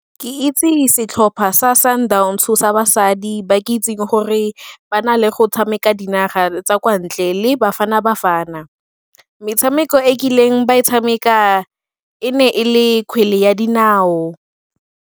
Ke itse setlhopha sa Sundowns-o sa basadi ba ke itseng gore ba na le go tshameka dinaga tsa kwa ntle le Bafana Bafana. Metshameko e kileng ba e tshameka e ne e le kgwele ya dinao.